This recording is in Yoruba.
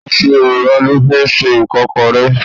Iṣu ewùrà lọ fi ń ṣe Ìkọ́kọrẹ́.